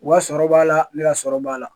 U wa sɔrɔ b'a la ne ka sɔrɔ b'a la